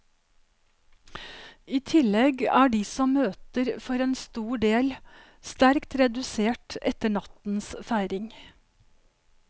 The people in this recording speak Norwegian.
I tillegg er de som møter for en stor del, sterkt redusert etter nattens feiring.